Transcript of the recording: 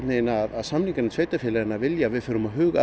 að samninganefnd sveitarfélaganna vilji að við förum að huga